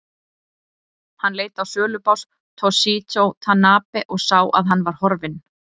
Hann leit á sölubás Toshizo Tanabe og sá að hann var horfinn.